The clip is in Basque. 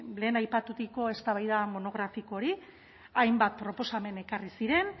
lehen aipaturiko eztabaida monografiko hori hainbat proposamen ekarri ziren